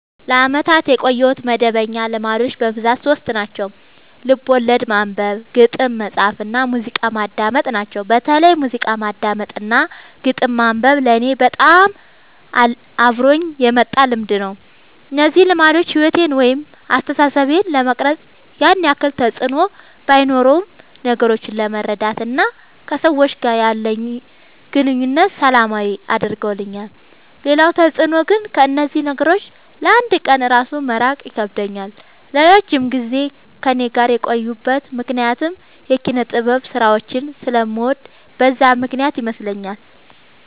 ለአመታት ያቆየሁት መደበኛ ልማዶች በብዛት ሶስት ናቸው። ልቦለድ ማንበብ፣ ግጥም መፃፍ እና ሙዚቃ ማዳመጥ ናቸው። በተለይ ሙዚቃ ማዳመጥ እና ግጥም ማንበብ ለኔ በጣም አብሮኝ የመጣ ልምድ ነው። እነዚህ ልማዶች ሕይወቴን ወይም አስተሳሰቤን ለመቅረጽ ያን ያክል ተፅዕኖ ባኖረውም ነገሮችን ለመረዳት እና ከሰዎች ጋር ያለኝን ግንኙነት ሰላማዊ አድርገውልኛል ሌላው ተፅዕኖ ግን ከእነዚህ ነገሮች ለ አንድ ቀን እራሱ መራቅ ይከብደኛል። ለረጅም ጊዜ ከእኔ ጋር የቆዩበት ምክንያት የኪነጥበብ ስራዎችን ስለምወድ በዛ ምክንያት ይመስለኛል።